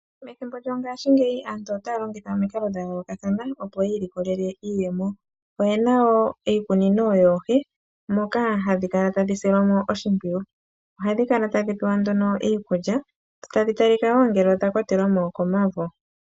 Methimbo lyongashi ngeyi aantu otaya longitha omikalo dha yoolokathana opo yi ilikolele iiyemo oyena iikunino yoohi moka hadhi kala tadhi silwa mo oshimpwiyu ohadhi kala tadhi pewa iikulya dho tadhi talika ngele odha kwatelwamo kuuvu.